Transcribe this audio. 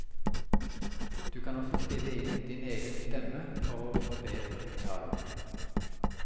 Du kan også spille inn din egen stemme for å forbedre uttalen.